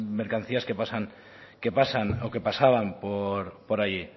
mercancías que pasan o que pasaban por allí